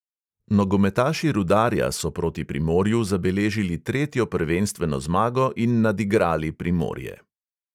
Nogometaši rudarja so proti primorju zabeležili tretjo prvenstveno zmago in nadigrali primorje.